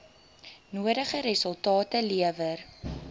nodige resultate lewer